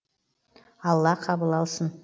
алла қабыл алсын